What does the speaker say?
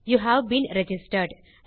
you have been registered